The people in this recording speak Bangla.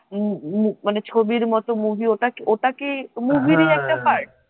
উম উম মানে ছবির মত movie ওটা কি ওটা কি movie রই একটা part